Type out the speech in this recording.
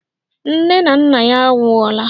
Nne na nna ya anwụọla.